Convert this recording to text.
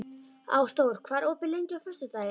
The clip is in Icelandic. Ásdór, hvað er opið lengi á föstudaginn?